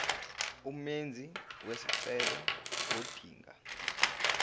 umenzi wesicelo ngodinga